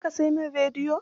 Za ka sai min rediyon?